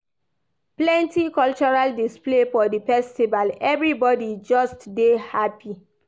Plenty cultural display full for di festival, everybodi just dey hapi.